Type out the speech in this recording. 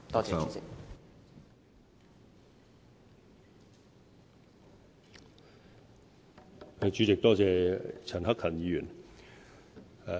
主席，多謝陳克勤議員。